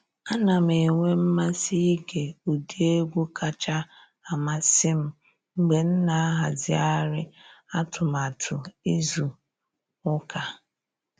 A na m enwe mmasị ịge ụdị egwu kacha amasị m mgbe m na ahazigharị atụmatụ izu ụka.